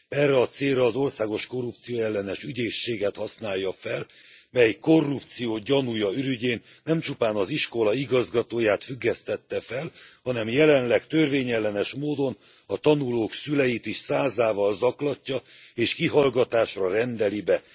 Erre a célra az országos korrupcióellenes ügyészséget használja fel, mely korrupció gyanúja ürügyén nem csupán az iskola igazgatóját függesztette fel, hanem jelenleg törvényellenes módon, a tanulók szüleit is százával zaklatja, és kihallgatásra rendeli be.